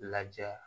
Lajɛ